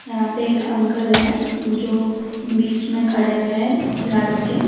यहां पे एक अंकल है जो बीच में खड़े हैं झाड़ो के।